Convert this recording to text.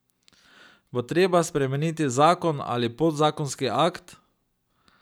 Bo treba spremeniti zakon ali podzakonski akt?